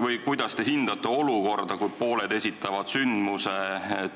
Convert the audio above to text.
Või kuidas te hindate olukorda, kus pooled esitavad sündmuse